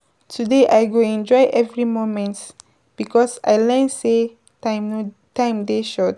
Today I go enjoy every moment because I learn sey time dey short.